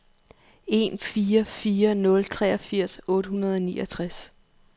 en fire fire nul treogfirs otte hundrede og niogtres